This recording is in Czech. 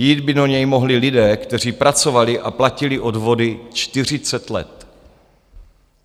Jít by do něj mohli lidé, kteří pracovali a platili odvody 40 let.